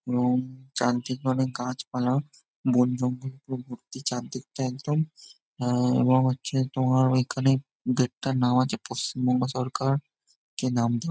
এবং যান্ত্রিক ভাবে গাছ পালা বন জঙ্গল পুরো ভর্তি চারদিকটা একদম এবং হচ্ছে তোমার ঐখানে গেট -টার নাম আছে পশ্চিমবঙ্গ সরকার যে নাম ।